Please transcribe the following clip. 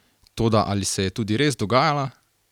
Toda ali se je tudi res dogajala?